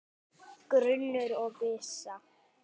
Grunur og vissa